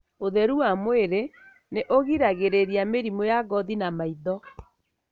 ũtheru wa mwĩrĩ nĩ ũgiragĩrĩrĩa mĩrimũ ya ngothi na maitho.